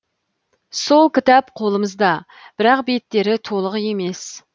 сол кітап қолымызда бірақ беттері толық емес